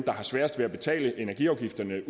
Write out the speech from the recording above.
der har sværest ved at betale energiafgifterne